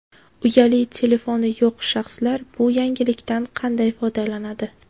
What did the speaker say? Uyali telefoni yo‘q shaxslar bu yangilikdan qanday foydalanadi?